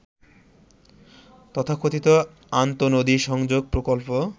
তথাকথিত আন্তঃনদী সংযোগ প্রকল্প